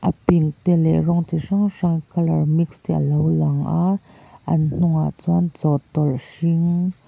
pink te leh rawng chi hrang hrang color mix te a lo lang a an hnungah chuan chawhtawlh hring --